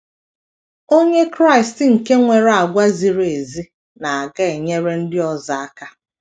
Onye Kraịst nke nwere àgwà ziri ezi na - aga enyere ndị ọzọ aka